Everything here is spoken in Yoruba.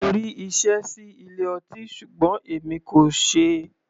Mo rí iṣẹ́ sí ilé ọtí ṣùgbọ́n èmi kò ṣeé.